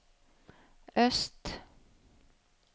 øst